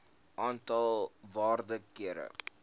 aantal waarde kere